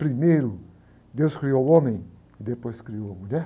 Primeiro, Deus criou o homem, depois criou a mulher?